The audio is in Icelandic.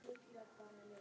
Birta: Á stólnum nýja?